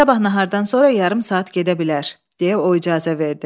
Sabah nahardan sonra yarım saat gedə bilər, deyə o icazə verdi.